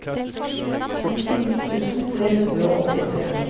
nittini tusen tre hundre og åttitre